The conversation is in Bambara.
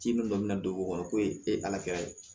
Ci minnu kɔni na don o kɔrɔ ko ye e kɛra ye